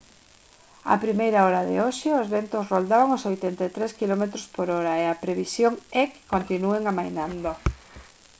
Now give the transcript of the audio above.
a primeira hora de hoxe os ventos roldaban os 83 km/h e a previsión é que continúen amainando